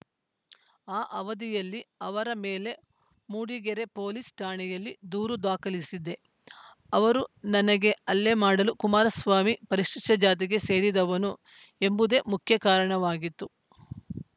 ಆ ಅವಧಿಯಲ್ಲಿ ಅವರ ಮೇಲೆ ಮೂಡಿಗೆರೆ ಪೊಲೀಸ್‌ ಠಾಣೆಯಲ್ಲಿ ದೂರು ದಾಖಲಿಸಿದ್ದೆ ಅವರು ನನಗೆ ಹಲ್ಲೆ ಮಾಡಲು ಕುಮಾರಸ್ವಾಮಿ ಪರಿಶಿಷ್ಟಜಾತಿಗೆ ಸೇರಿದವನು ಎಂಬುದೇ ಮುಖ್ಯ ಕಾರಣವಾಗಿತ್ತು